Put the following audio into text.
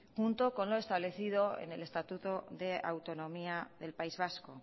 junto con lo establecido en el estatuto de autonomía del país vasco